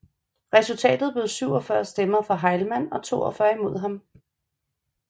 Resultatet blev 47 stemmer for Heilmann og 42 imod ham